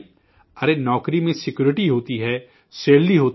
ارے نوکری میں سکیورٹی ہوتی ہے، تنخواہ ہوتی ہے